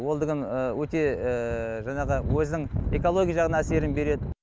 ол деген өте жаңағы өзінің экологиялық жағынан әсерін береді